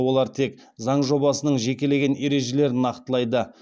олар тек заң жобасының жекелеген ережелерін нақтылайды